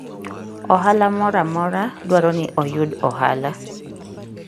Ohala moro amora dwaro ni oyud ohala.